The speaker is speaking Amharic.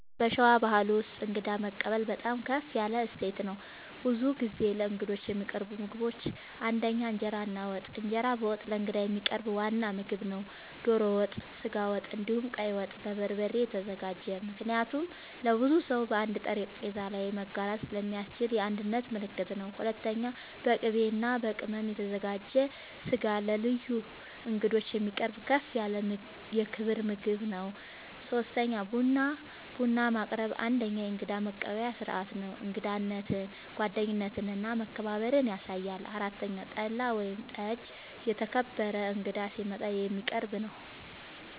በሸዋ ባሕል ውስጥ እንግዳ መቀበል በጣም ከፍ ያለ እሴት ነው። ብዙ ጊዜ ለእንግዶች የሚቀርቡ ምግቦች ፩) እንጀራ እና ወጥ፦ እንጀራ በወጥ ለእንግዳ የሚቀርብ ዋና ምግብ ነው። ዶሮ ወጥ፣ ስጋ ወጥ፣ እንዲሁም ቀይ ወጥ( በበርበሬ የተዘጋጀ) ምክንያቱም ለብዙ ሰው በአንድ ጠረጴዛ ላይ መጋራት ስለሚያስችል የአንድነት ምልክት ነው። ፪.. በቅቤ እና በቅመም የተዘጋጀ ስጋ ለልዩ እንግዶች የሚቀርብ ከፍ ያለ የክብር ምግብ ነው። ፫. ቡና፦ ቡና ማቅረብ አንደኛዉ የእንግዳ መቀበያ ስርዓት ነው። እንግዳነትን፣ ጓደኝነትን እና መከባበርን ያሳያል። ፬ .ጠላ ወይም ጠጅ ደግሞ የተከበረ እንግዳ ሲመጣ የሚቀረብ ነዉ